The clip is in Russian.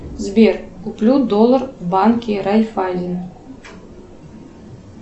сбер куплю доллар в банке райффайзен